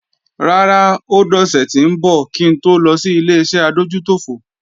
Rárá, ó dọ̀sẹ̀ tí ńbọ̀ kí ń to lọ sí Ileṣẹ́ adójútòfò